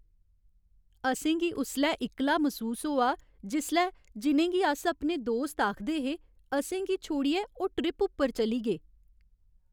असेंगी उसलै इक्कला मसूस होआ जिसलै जि'नेंगी अस अपने दोस्त आखदे हे, असेंगी छोड़ियै ओह् ट्रिप उप्पर चली गे।